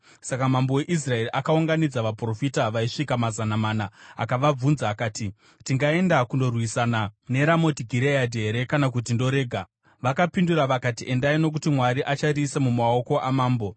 Saka mambo weIsraeri akaunganidza vaprofita vaisvika mazana mana akavabvunza akati, “Tingaenda kundorwisana neRamoti Gireadhi here kana kuti ndorega?” Vakapindura vakati, “Endai nokuti Mwari achariisa mumaoko amambo.”